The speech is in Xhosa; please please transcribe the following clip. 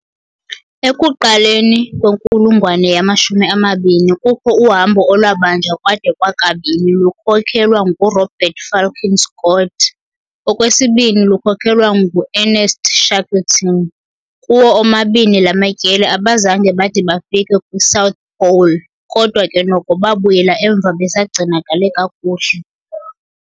Ekuqaleni kwenkulungwane yama-20 kukho uhambo olwabanjwa kwade kwakabini, lukhokhelwa nguRobert Falcon Scott, olwesibini lukhokhelwa ng u-Ernest Shackleton. Kuwo omabini lamatyeli abazange bade bafike kwi-'South Pole', kodwa ke noko babuyela emva besagcinakele kakuhle.